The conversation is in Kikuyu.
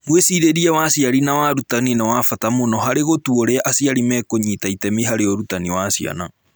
Mwĩcirĩrie wa aciari na wa arutani nĩ wa bata mũno harĩ gũtua ũrĩa aciari mekũnyita itemi harĩ ũrutani wa ciana.